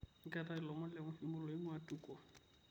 ketae lomon le muhimu oinguaa Tuko